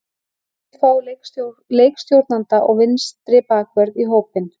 Hann vill fá leikstjórnanda og vinstri bakvörð í hópinn.